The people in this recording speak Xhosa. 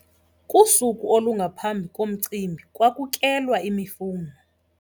Kusuku olungaphambi komcimbi kwakukelwa imifuno.